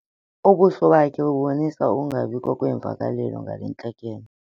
Ubuso bakhe bubonisa ukungabikho kweemvakalelo ngale ntlekele.